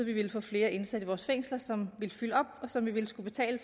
vi ville få flere indsatte i vores fængsler som ville fylde op og som vi ville skulle betale